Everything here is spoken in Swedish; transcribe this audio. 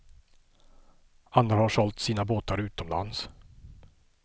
Andra har sålt sina båtar utomlands.